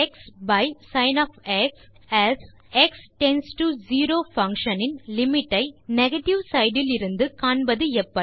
xசின் as x tends to 0 function in limit ஐ negative side இலிருந்து காண்பது எப்படி